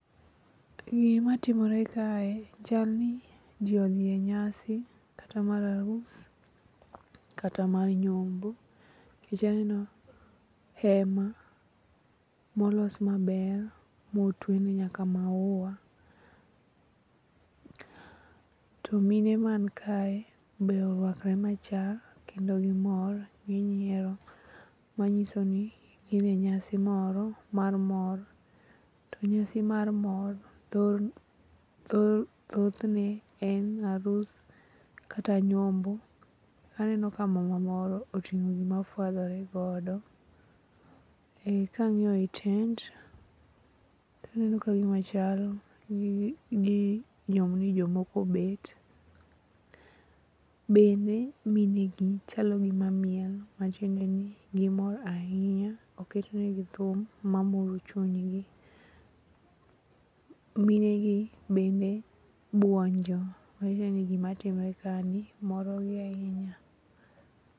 Gimatimore kae chal ni ji odhi e nyasi kata mana mar arus kata mana mar nyombo nkech aneno hema molos maber motwene nyaka maua. To mine mankae be orwakre machal kendo gimor ginyiero manyiso ni gin e nyasi moro mar mor to nyasi mar mor thothne en arus kata nyombo. Aneno ka mama moro oting'o gima ofuadhoregodo. Ka ang'iyo i tent taneno kagimachal ni jomoko obet bende mine gi chalo gima miel matiende ni gimor ahinya oketnegi thum mamoro chunygi. Minegi bende buonjo matiende ni gimatimre kani morogi ahinya.